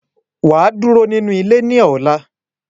Waa duro ninu ile ni ola.